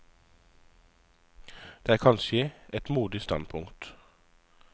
Det er kanskje et modig standpunkt.